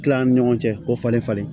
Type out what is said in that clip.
Tila an ni ɲɔgɔn cɛ k'o falen falen